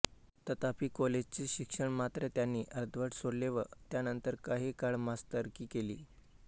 तथापि कॉलेजचे शिक्षण मात्र त्यांनी अर्धवट सोडले व त्यानंतर काही काळ मास्तरकी केली